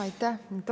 Aitäh!